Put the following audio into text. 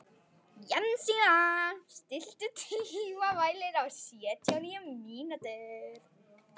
Jensína, stilltu tímamælinn á sjötíu og níu mínútur.